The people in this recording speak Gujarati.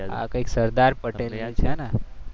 આ કંઈક સરદાર પટેલની છે ને